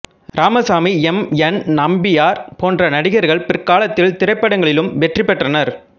Ramasamy M N Nambiar போன்ற நடிகர்கள் பிறகாலத்தில் திரைபடங்களிலும் வெற்றி பெற்றனர்